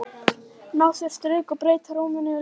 Ná sér á strik og breyta rúminu í leikvöll.